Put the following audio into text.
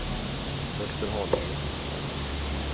Västerhaninge